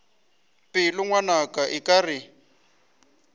pelo ngwanaka a ke re